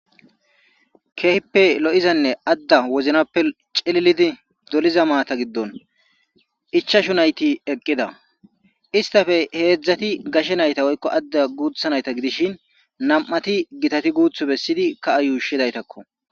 Keehippe lo7izanne adda woznappe cililidi doliza maata giddon ichashu nayti eqqida istafe heedzdzati gashe nayta woykko adda guutha nayta gidishin nam7ati gitati guuth bessidi ka7a yuushidaytakko.